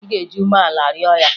Ị ga-eji umeala rịọ ya!